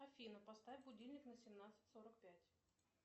афина поставь будильник на семнадцать сорок пять